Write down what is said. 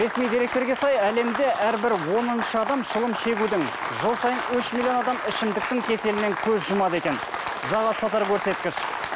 ресми деректерге сай әлемде әрбір оныншы адам шылым шегудің жыл сайын үш миллион адам ішімдіктің кеселінен көз жұмады екен жаға ұстатар көрсеткіш